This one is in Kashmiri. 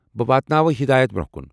بہٕ واتناو ہدایت برونہہ كٗن .